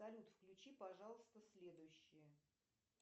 салют включи пожалуйста следующее